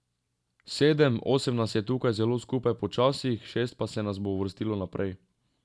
Sedem, osem nas je tukaj zelo skupaj po časih, šest pa se nas bo uvrstilo naprej.